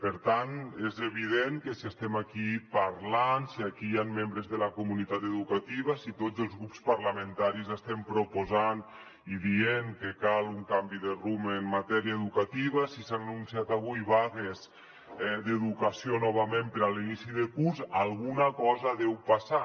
per tant és evident que si estem aquí parlant si aquí hi han membres de la comunitat educativa si tots els grups parlamentaris estem proposant i dient que cal un canvi de rumb en matèria educativa si s’han anunciat avui vagues d’educació novament per a l’inici de curs alguna cosa deu passar